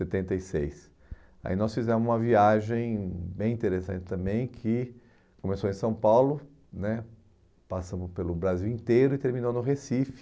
setenta e seis. Aí nós fizemos uma viagem bem interessante também, que começou em São Paulo né, passamos pelo Brasil inteiro e terminou no Recife.